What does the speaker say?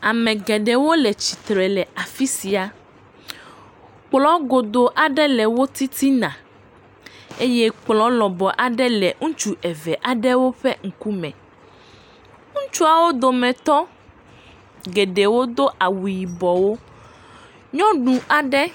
Tsi xa ɖe anyigba. Gbeɖuɖɔwo le tsia me. Amewo le zɔzɔm to gbeɖuiɖɔ la kple tsi la ŋu. Ŋuwo hã le mɔa dzi. Ame aɖewo de asi kotoku me.